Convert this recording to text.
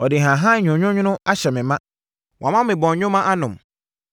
Ɔde nhahan nwononwono ahyɛ me ma. Wama me bɔnwoma anom.